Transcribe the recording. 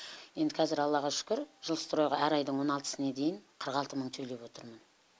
енді қазір аллаға шүкір жилстроиға әр айдың он алтысына дейін қырық алты мың төлеп отырмын